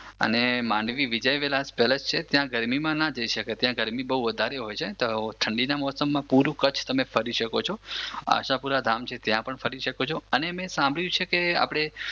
અને માંડવી વિજયવિલાસ પેલેસ છે ત્યાં ગરમીમાં ના જઈ સકાય ત્યાં ગરમી બઉ વધારે હોય છે ઠંડીના મોસમમાં પૂરું કચ્છ તમે ફરી શકો છો આશાપુરા ધામ છે ત્યાં પણ ફરી શકો છો. અને મે સાંભળ્યું છે કે આપડે